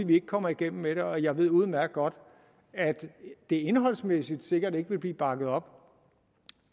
vi ikke kommer igennem med det og jeg ved udmærket godt at det indholdsmæssigt sikkert ikke vil blive bakket op